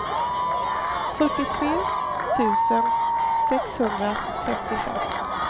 fyrtiotre tusen sexhundrafemtiofem